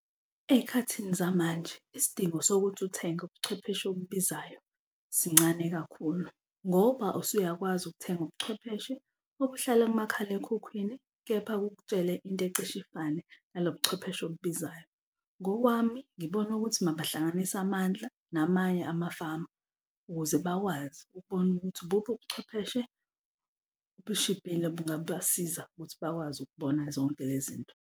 Ey'khathini zamanje isidingo sokuthi uthenge ubuchwepheshe obubizayo sincane kakhulu ngoba usuyakwazi ukuthenga ubuchwepheshe okuhlala kumakhalekhukhwini, kepha kukutshele into ecishe ifane nalo buchwepheshe obubizayo. Ngokwami ngibona ukuthi mabahlanganise amandla namanye ama-farm ukuze bakwazi ukubona ukuthi ubuphi ubuchwepheshe obushibhile bungabasiza ukuthi bakwazi ukubona zonke lezi zinto.